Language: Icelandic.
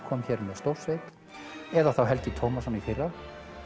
kom hér með stórsveit eða Helgi Tómasson í fyrra